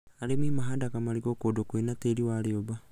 Arĩmi mahandaga marigũ kũndũ kwĩna tĩĩri wa rĩũmba